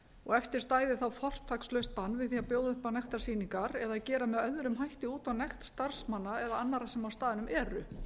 og eftir stæði þá fortakslaust bann við því að bjóða upp á nektarsýningar eða gera með öðrum hætti út á nekt starfsmanna eða annarra sem á staðnum